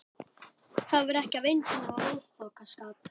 Það var ekki af eintómum óþokkaskap.